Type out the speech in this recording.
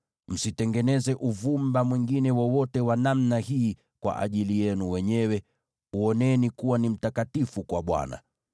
Msitengeneze uvumba mwingine wowote wa namna hii kwa ajili yenu wenyewe; uoneni kuwa ni mtakatifu kwa Bwana .